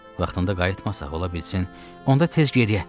Vaxtında qayıtmasaq, ola bilsin, onda tez gedək.